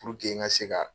Puruke n ka se ka